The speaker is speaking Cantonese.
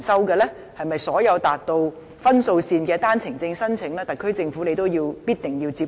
對於所有達到分數線的單程證申請，特區政府是否也必定要接收？